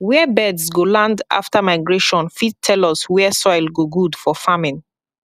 where birds go land after migration fit tell us where soil go good for farming